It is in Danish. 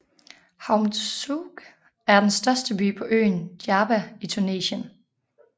Houmt Souk er den største by på øen Djerba i Tunesien